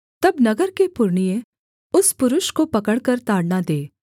तब नगर के पुरनिये उस पुरुष को पकड़कर ताड़ना दें